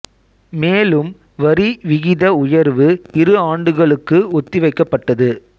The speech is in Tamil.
மேலும் வரி விகித உயர்வு இரு ஆண்டுகளுக்கு ஒத்தி வைக்கப்பட்டது